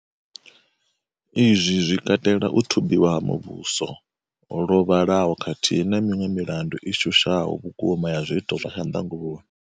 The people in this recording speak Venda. Izwi zwi katela u thubiwa ha muvhuso lwo vhalaho khathihi na miṅwe milandu i shushaho vhukuma ya zwiito zwa tshanḓanguvhoni.